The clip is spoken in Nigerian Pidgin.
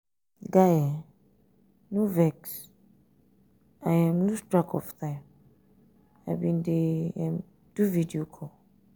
guy um no vex i lose um track of time i bin um dey do video call.